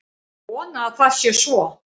Ég vona að það sé svo